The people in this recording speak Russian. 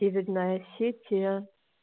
северная осетия